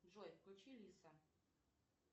джой включи лиса